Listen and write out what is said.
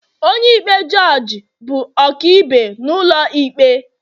onye-ikpe jugee bụ ọkaibe n'ulo ikpe